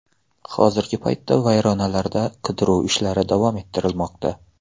Hozirgi paytda vayronalarda qidiruv ishlari davom ettirilmoqda.